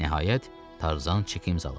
Nəhayət, Tarzan çeki imzaladı.